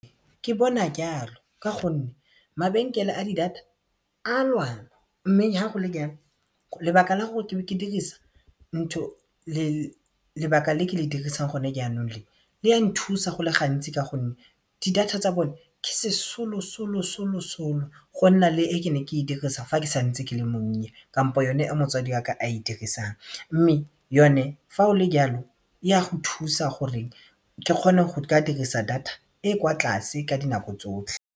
Ke bona ke jalo ka gonne mabenkele a di-data a lwana mme ha go le jalo lebaka la gore ke dirisa lebaka le ke le dirisang gone jaanong le le a nthusa go le gantsi ka gonne di-data tsa bone ke sesolosolosolosolo gonna le e ke neng ke dirisa fa ke santse ke le monnye kampo yone e motsadi waka a e dirisang mme yone fa o le jalo e a go thusa gore ke kgone go ka dirisa data e e kwa tlase ka dinako tsotlhe.